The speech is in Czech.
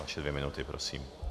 Vaše dvě minuty prosím.